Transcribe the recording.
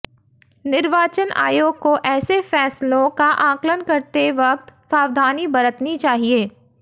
निर्वाचन आयोग को ऐसे फैसलों का आकलन करते वक्त सावधानी बरतनी चाहिए